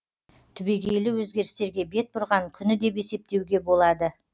түбегейлі өзгерістерге бет бұрған күні деп есептеуге болады